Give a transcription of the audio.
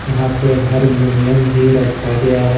यहां पे हरमुनियम भी रखा गया है।